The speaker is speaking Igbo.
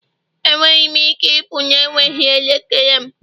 Enweghị m ike ịpụ na-enweghị elekere m